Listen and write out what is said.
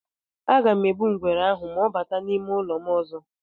Aga m egbu ngwere ahụ ma ọ bata n'ime ụlọ m ọzọ.